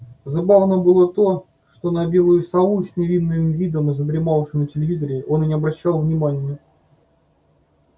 забавно было то что на белую сову с невинным видом задремавшую на телевизоре он и не обращал внимания